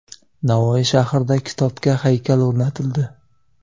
Navoiy shahrida kitobga haykal o‘rnatildi.